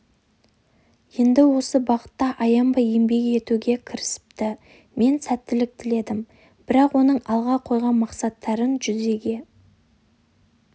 енді осы бағытта аянбай еңбек етуге кірісіпті мен сәттілік тіледім бірақ оның алға қойған мақсаттарын жүзеге